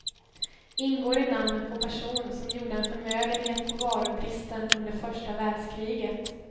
Ingår i namnet på person som gjorde en förmögenhet på varubristen under första världskriget.